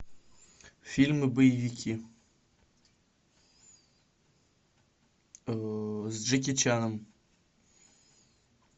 фильмы боевики с джеки чаном